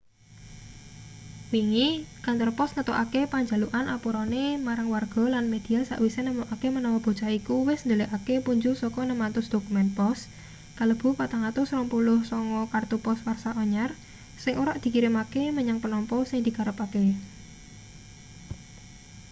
wingi kantor pos ngetokake panjalukan apurane marang warga lan media sawise nemokake menawa bocah iku wis ndhelikake punjul saka 600 dokumen pos kalebu 429 kartu pos warsa anyar sing ora dikirimake menyang penampa sing dikarepake